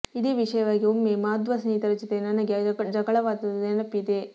ಇದೇ ವಿಷಯವಾಗಿ ಒಮ್ಮೆ ಮಾಧ್ವ ಸ್ನೇಹಿತರ ಜೊತೆ ನನಗೆ ಜಗಳವಾದದ್ದು ನೆನಪಿದೆ